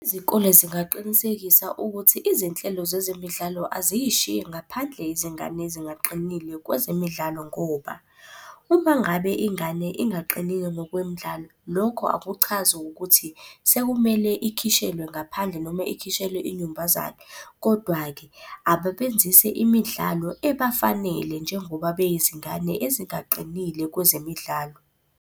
Izikole zingaqinisekisa ukuthi izinhlelo zezemidlalo aziyishiyi ngaphandle izingane ezingaqinile kwezemidlalo ngoba, uma ngabe ingane ingaqinile ngokwemidlalo lokho akuchazi ukuthi sekumele ikhishelwe ngaphandle noma ikhishelwe inyumbazane. Kodwa-ke ababenzise imidlalo ebafanele njengoba beyizingane ezingaqinile kwezemidlalo.